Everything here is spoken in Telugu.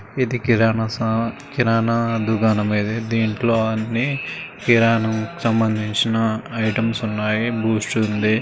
ఇది కిరాణా సామాన్ కిరాణా దుకాణం ఇది. దీంట్లో అన్నీ కిరాణంకి సంబందించిన ఐటెమ్స్ ఉన్నాయి బూస్టుంది .